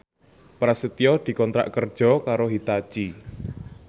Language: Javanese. Prasetyo dikontrak kerja karo Hitachi